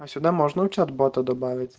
а сюда можно учёт бота добавить